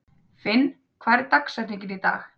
Finn, hver er dagsetningin í dag?